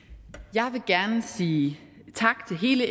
jeg vil gerne sige tak til hele